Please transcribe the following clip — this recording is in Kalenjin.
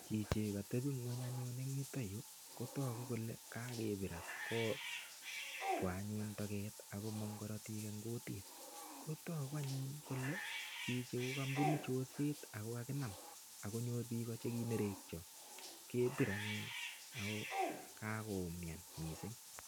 Chichi katebi ngweny anyun eng yutok yu kotogu kole kakepir any. Kotwo anyun teget ak komong korotik eng kutit. Kotagu anyun kole chichi ko kabunu chorset ago kakinam ak konyor biiko che kanerekyo kepir anyun ago kakoumian mising.